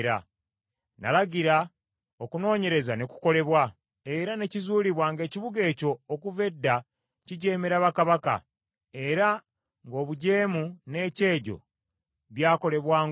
Nalagira, okunoonyereza ne kukolebwa, era ne kizuulibwa ng’ekibuga ekyo, okuva edda kijeemera bakabaka , era ng’obujeemu n’ekyejo byakolebwanga omwo.